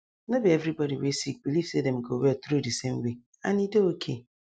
no be every body wey sick believe say dem go well through di same way and e dey okay